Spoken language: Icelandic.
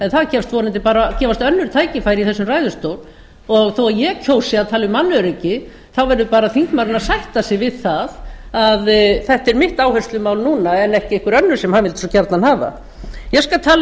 en það gefast önnur tækifæri í þessum ræðustól þó að ég kjósi að tala um mannöryggi þá verður bara þingmaðurinn að sætta sig við það að þetta er mitt áherslumál núna en ekki einhver önnur sem hann vildi svo gjarnan hafa ég skal tala